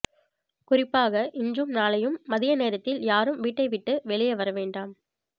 குறிப்பாக இன்றும் நாளையும் மதிய நேரத்தில் யாரும் வீட்டை விட்டு வெளியே வரவேண்டாம்